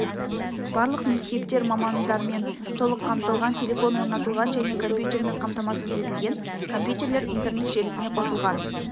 барлық мектептер мамандармен толық қамтылған телефон орнатылған және компьютермен қамтамасыз етілген компьютерлер интернет желісіне қосылған